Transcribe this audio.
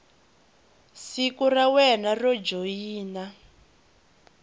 siku ra wena ro joyina